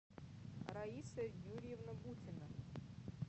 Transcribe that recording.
раиса юрьевна бутина